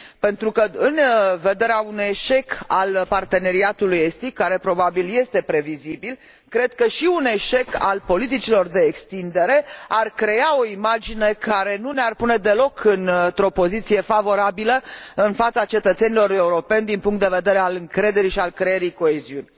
Pentru că, în vederea unui eșec al Parteneriatului estic, care probabil este previzibil, cred că și un eșec al politicilor de extindere ar crea o imagine care nu ne ar pune deloc într o poziție favorabilă în fața cetățenilor europeni din punctul de vedere al încrederii și al creării coeziunii.